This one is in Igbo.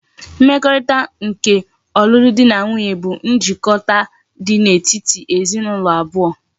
Mmekorita nke olulu di na nwunye bu njikota di etiti ezi na ulo abuo